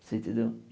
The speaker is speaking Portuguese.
Você entendeu?